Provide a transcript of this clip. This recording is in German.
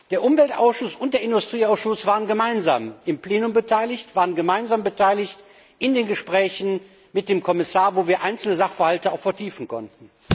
Der Umweltausschuss und der Industrieausschuss waren gemeinsam im Plenum beteiligt, waren gemeinsam beteiligt in den Gesprächen mit dem Kommissar, wo wir einzelne Sachverhalte auch vertiefen konnten.